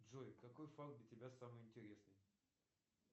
джой какой факт для тебя самый интересный